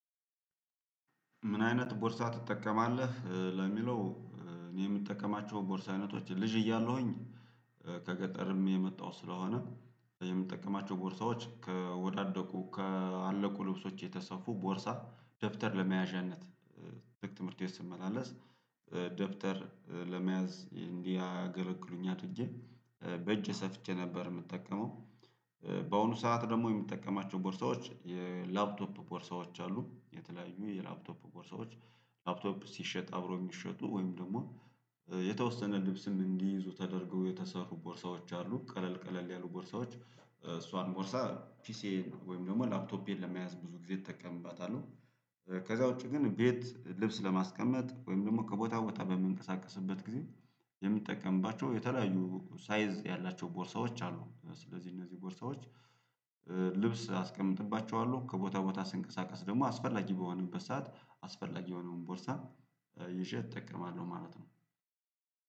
ምን አይነት ቦርሳ ትጠቀማለህ? ለሚለው እኔ የምጠቀማቸው ቦርሳ አይነቶች ልጅ እያለሁኝ ከገጠርም የመጣው ስለሆነ የምጠቀማቸው ቦርሳዎች ከወዳደቁ ከአለቁ ልብሶች የተሰፉ ቦርሳ ደብተር ለመያዣነት ትምህርት ቤት ስመላለስ ደብተር ለመያዝ እንዲህ አገለግሉኛል ብዬ በእጄ ሰፍቼ ነበር የምጠቀመው። በአሁኑ ሰዓት ደግሞ የምጠቀማቸው ቦርሳዎች የላፕቶፕ ቦርሳዎች አሉ የተለያዩ የላፕቶፕ ቦርሳዎች። ላፕቶፕ ሲሸጥ አብሮ የሚሸጡ ወይም ደግሞ የተወሰነ ልብስም እንዲይዙ ተደርገው የተሰሩ ቦርሳዎች አሉ። ቀለል ቀለል ያሉ ቦርሳዎች እሷን ቦርሳ ፒሲዬን ወይም ደግሞ ላፕቶፔን ለመያዝ ብዙ ጊዜ እጠቀምባታለሁ። ከዛ ውጪ ግን ቤት ልብስ ለማስቀመጥ ወይም ደግሞ ከቦታ ቦታ በመንቀሳቀስበት ጊዜ የምጠቀምባቸው የተለያዩ ሳይዝ ያላቸው ቦርሳዎች አሉ። ስለዚህ እነዚህ ቦርሳዎች ልብስ አስቀምጥባቸዋለሁ ከቦታ ቦታ ስንቀሳቀስ ደግሞ አስፈላጊ በሆነበት ሰዓት አስፈላጊ የሆነውን ቦርሳ ይዤ እጠቀማለሁ። ማለት ነው።